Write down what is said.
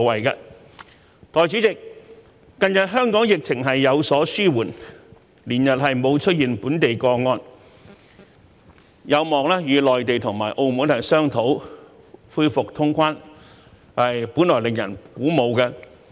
代理主席，近日香港疫情有所紓緩，連日沒有出現本地個案，有望與內地和澳門商討恢復通關，本來令人鼓舞。